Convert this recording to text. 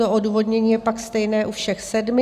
To odůvodnění je pak stejné u všech sedmi.